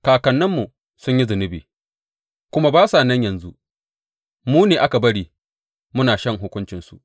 Kakanninmu sun yi zunubi kuma ba sa nan yanzu, mu ne aka bari muna shan hukuncinsu.